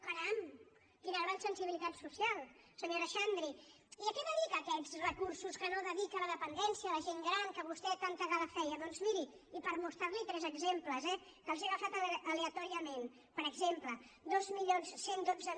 caram quina gran sensibilitat social senyora xandri i a què dedica aquests recursos que no dedica a la dependència a la gent gran de què vostè tanta gala feia doncs miri i per mostrar li’n tres exemples eh que els he agafat aleatòriament per exemple dos mil cent i dotze